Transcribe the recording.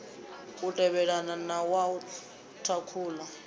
u tevhelelana na wa thakhula